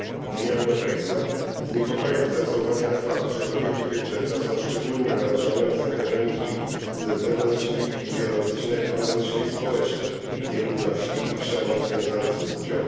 Unia Europejska z niepokojem zwraca uwagę na fakt, że kobiety i dziewczęta są szczególnie narażone na zakażenie HIV ze względu na czynniki fizjologiczne, ekonomiczne i społeczne, nierówności i przemoc związane z płcią.